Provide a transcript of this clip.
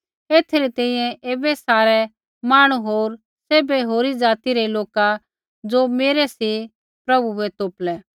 एथा री तैंईंयैं ऐबै सारै मांहणु होर सैभै होरी ज़ाति रै लोका ज़ो मेरै सी प्रभु बै तोपलै